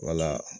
Wala